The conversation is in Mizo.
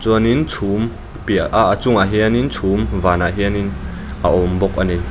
chuan in chhuk piah a chungah hian in chhum vanah hian in a awm bawk a ni.